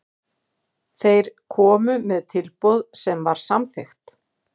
Þeir komu með tilboð sem var samþykkt.